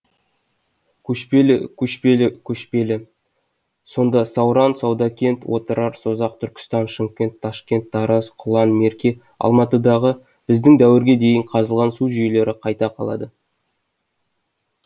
көшпелі көшпелі көшпелі сонда сауран саудакент отырар созақ түркістан шымкент ташкент тараз құлан мерке алматыдағы біздің дәуірге дейін қазылған су жүйелері қайда қалады